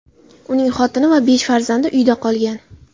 Uning xotini va besh farzandi uyda qolgan.